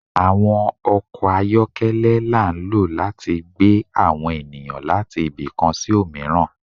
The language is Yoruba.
Awọn ọkọ ayọkẹlẹ la n lo lati gbẹ awọn eniyan lati ìbi kan sí omiran